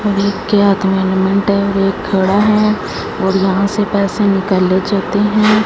Element है और एक घोड़ा है और यहां से पैसे निकाले जाते हैं।